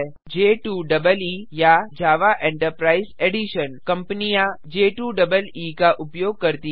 J2EE या Java enterprise Edition कंपनियाँ J2EE का उपयोग करती हैं